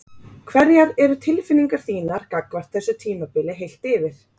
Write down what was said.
Hverjar eru tilfinningar þínar gagnvart þessu tímabili heilt yfir?